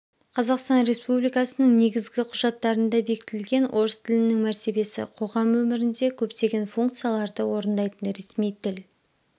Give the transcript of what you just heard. қазақстан республикасының негізгі құжаттарында бекітілген орыс тілінің мәртебесі қоғам өмірінде көптеген функцияларды орындайтын ресми тіл